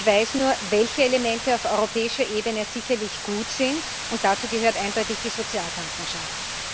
Ich weiß nur, welche Elemente auf europäischer Ebene sicherlich gut sind, und dazu gehört eindeutig die Sozialpartnerschaft.